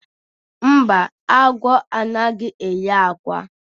mba, agwọ anaghi eyi ákwà